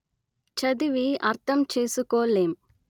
చదివి అర్ధంచేసుకోలేం